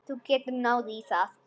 Þú getur náð í það.